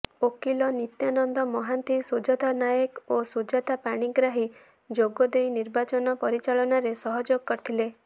ଓକିଲ ନିତ୍ୟାନନ୍ଦ ମହାନ୍ତି ସୁଜାତା ନାୟକ ଓ ସୁଜାତା ପାଣିଗ୍ରାହୀ ଯୋଗଦେଇ ନିର୍ବାଚନ ପରିଚାଳନାରେ ସହଯୋଗ କରିଥିଲେ